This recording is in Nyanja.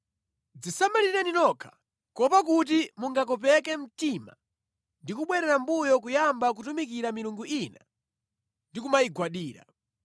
Dzisamalireni nokha, kuopa kuti mungakopeke mtima ndi kubwerera mʼmbuyo kuyamba kutumikira milungu ina ndi kumayigwadira.